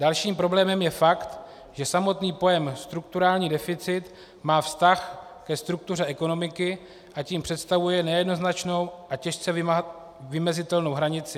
Dalším problémem je fakt, že samotný pojem strukturální deficit má vztah ke struktuře ekonomiky, a tím představuje nejednoznačnou a těžce vymezitelnou hranici.